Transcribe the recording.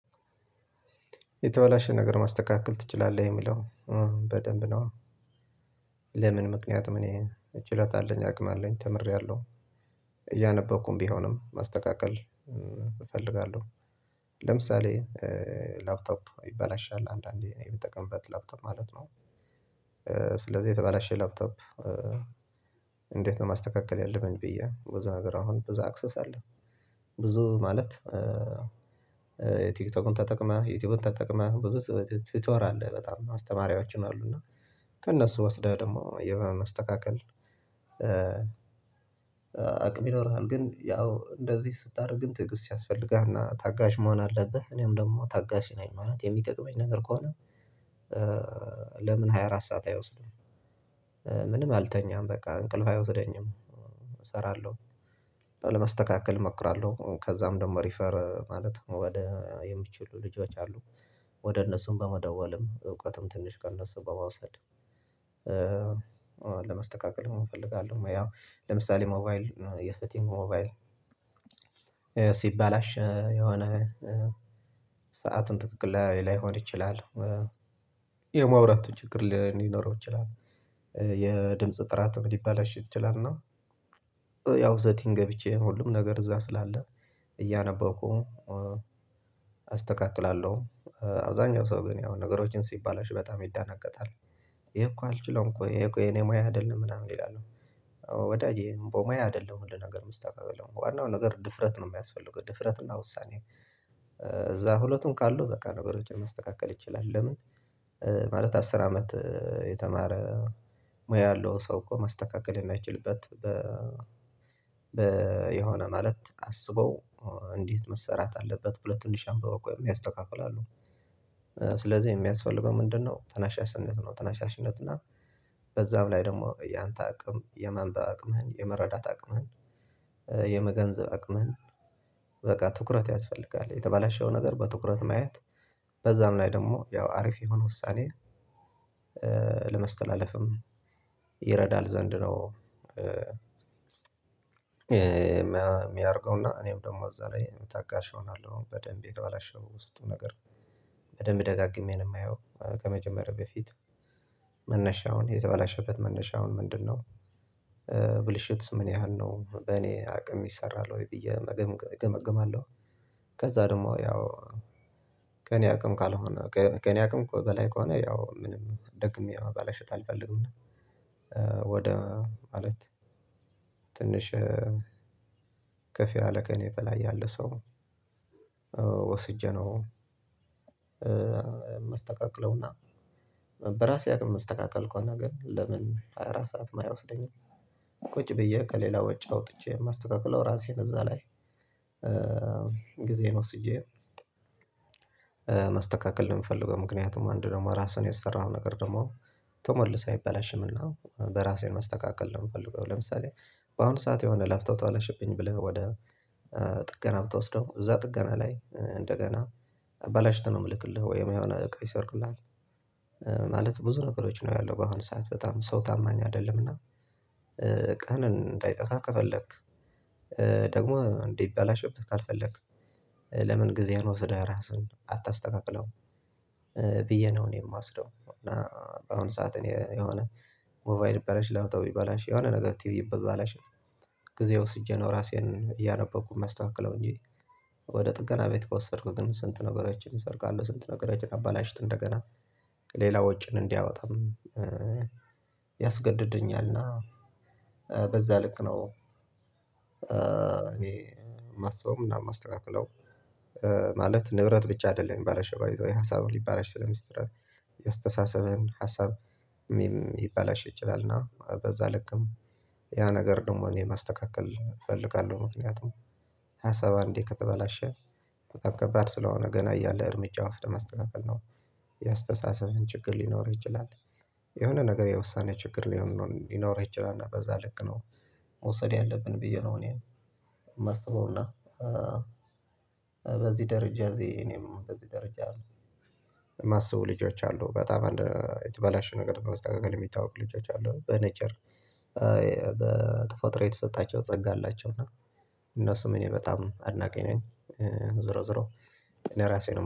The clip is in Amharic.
የተበላሸ ነገር ማስተካከል ትችላለህ የሚለው በደንብ ነው። ለምን ምክንያትም እኔ ችሎታ አለኝ፣ አቅም አለኝ፣ ተምሬያለሁ። እያነበብኩም ቢሆንም ማስተካከል እፈልጋለሁ። ለምሳሌ ላፕቶፕ ይበላሻል። አንዳንዴ እኔ የምጠቀምበት ላፕቶፕ ማለት ነው። ስለዚህ የተበላሸ ላፕቶፕ እንዴት ነው ማስተካከል ያለብኝ ብዬ፣ ብዙ ነገር አሁን ብዙ አክሰስ አለ። ብዙ ማለት በቲክቶክም ተጠቅመህ፣ ዩቲዩብን ተጠቅመህ ብዙ ቲቶር አለ በጣም፣ አስተማሪያዎችም አሉና። ከእነሱ ወስደህ ደግሞ ማስተካከል አቅም ይኖርሃል። ግን ያው እንደዚህ ስታደርግ ግን ትዕግስት ያስፈልግሃልና ታጋሽ መሆን አለብህ። እኔም ደግሞ ታጋሽ ነኝ። ማለት የሚጠቅመኝ ነገር ከሆነ ለምን ሃያ አራት ሰዓት አይወስድም፣ ምንም አልተኛም በቃ፣ እንቅልፍ አይወስደኝም፣ እሰራለሁ። ለማስተካከል እሞክራለሁ። ከዛም ደግሞ ሪፈር ማለት ወደ የሚችሉ ልጆች አሉ። ወደ እነሱም በመደወልም እውቀትም ትንሽ ከእነሱም በመውሰድ ለማስተካከልም እፈልጋለሁ። ያው ለምሳሌ ሞባይል የሰቲንግ ሞባይል ሲበላሽ የሆነ ሰአቱን ትክክል ላይ ላይሆን ይችላል። የማውራት ችግር ሊኖረው ይችላል። የድምጽ ጥራትም ሊበላሽ ይችላል እና ያው ሰቲንግ ገብቼ ሁሉም ነገር እዛ ስላለ እያነበብኩ አስተካክላለሁ። አብዛኛው ሰው ግን ያው ነገሮችን ሲበላሽ በጣም ይደናገጣል። ይሄ እኮ አልችለውም እኮ፣ ይሄ እኮ የኔ ሙያ አይደለም ምናምን ይላሉ። ወዳጄ በሙያ አይደለም ሁሉ ነገር የሚስተካከለው ዋናው ነገር ድፍረት ነው የሚያስፈልገው ድፍረት እና ውሳኔ። እዛ ሁለቱም ካሉ በቃ ነገሮችን ማስተካከል ይችላል። ለምን ማለት አስር አመት የተማረ ሙያ ያለው ሰው እኮ ማስተካከል የማይችልበት በ የሆነ ማለት አስበው እንዴት መሰራት አለበት ብሎ ትንሽ አምብበው እኮ የሚያስተካክሉ አሉ። ስለዚህ የሚያስፈልገው ምንድነው ተናሻስነት ነው። ተናሻሽነት እና በዛም ላይ ደግሞ ያንተ አቅም፣ የማንበብ አቅምህን፣ የመረዳት አቅምህን፣ የመገንዘብ አቅምህን በቃ ትኩረት ያስፈልጋል። የተባላሸው ነገር በትኩረት ማየት በዛም ላይ ደግሞ ያው አሪፍ የሆነ ውሳኔ ለማስተላለፍም ይረዳል ዘንድ ነው የሚያደርገውና። እኔም ደግሞ እዛ ላይ ታጋሽ እሆናለሁ። በደንብ የተበላሸው ውስጡ ነገር በደንብ ደጋግሜ ነው የማየው ከመጀመሬ በፊት፣ መነሻውን የተባላሸበት መነሻውን ምንድነው ብልሽትስ ምን ያህል ነው በእኔ አቅም ይሰራል ወይ ብዬ መገም እገመግማለሁ ከዛ ደግሞ ያው ከእኔ አቅም ካልሆነ ከእኔ አቅም በላይ ከሆነ ያው ምንም ደግሜ ማበላሸት አልፈልግም ወደ ማለት ትንሽ ከፍ ከኔ በላይ ያለ ሰው ወስጄ ነው ማስተካከለውና በራሴ አቅም የሚስተካከል ከሆነ ግን ለምን ሃያ አራት ሰዓትም አይወስደኝም። ቁጭ ብዬ ከሌላ ወጪ አውጥቼ የማስተካክለው ራሴን እዛ ላይ ጊዜን ወስጄ ማስተካከል ነው የምፈልገው። ምክንያቱም አንድ ደግሞ ራስህን የሰራሀው ነገር ደግሞ ተመልሶ አይበላሽምና በራሴ ማስተካከል ነው የምፈልገው። ለምሳሌ በአሁን ሰዓት የሆነ ላፖቶፖ ተበላሽብኝ ብለህ ወደ ጥገና ብትወስደው እዛ ጥገና ላይ እንደገና አበላሽቶ ነው የሚልክልህ ወይም የሆነ እቃ ይሰርቁልሃል። ማለት ብዙ ነገሮች ነው ያለው በአሁን ሰዓት በጣም ሰው ታማኝ አይደለምና እቃህን እንዳይጠፋ ከፈለክ ደግሞ እንዳይበላሽብህ ካልፈለክ ለምን ጊዜህን ወስደህ ራስህን አታስተካክለውም ብዬ ነው እኔ የምወስደው እና በአሁኑ ሰዓት እኔ የሆነ ሞባይል ይበላሽ፣ ላፖቶፖ ይበላሽ፣ የሆነ ነገር ቲቪ ይበላሽ ጊዜ ወስጄ ነው ራሴን እያነበብኩ የማስተካክለው እንጂ ወደ ጥገና ቤት ከወሰድኩ ግን ስንት ነገሮችን ይሰርቃሉ ስንት ነገሮችን አበላሽቶ እንደገና ሌላ ወጪን እንዲያወጣም ያስገድደኛልና በዛ ልክ ነው እኔ የማስበው አናም የማስተካክለው ማለት ንብረት ብቻ አይደለም የሚበላሸው ባይዘወይ ሀሳብም ሊበላሽ የአስተሳሰብህን ሀሳብ ሊበላሽ ይችላል እና በዛ ልክም ያ ነገር ደግሞ እኔ ማስተካከል እፈልጋለሁ። ምክንያቱም ሀሳብ አንዴ ከተበላሸ በጣም ከባድ ስለሆነ ገና እያለ እርምጃ ወስደህ ማስተካከል ነው የአስተሳሰብህን ችግር ሊኖር ይችላል። የሆነ ነገር የውሳኔ ችግር ሊሆን ሊኖርህ ይችላል እና በዛ ልክ ነው መውሰድ ያለብን ብዬ ነው እኔ የማስበውና በዚህ ደረጃ እዚ እኔም በዚህ ደረጃ የሚያስቡ ልጆች አሉ። በጣም አንድ የተበላሸ ነገር በማስተካከል የሚታወቁ ልጆች አሉ። በኔቸር በተፈጥሮ የተሰጣቸው ጸጋ አላቸው እና እነሱም እኔ በጣም አድናቂ ነኝ። ዝሮ ዝሮ እኔ ራሴ ነው